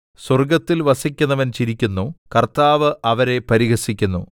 സ്വർഗ്ഗത്തിൽ വസിക്കുന്നവൻ ചിരിക്കുന്നു കർത്താവ് അവരെ പരിഹസിക്കുന്നു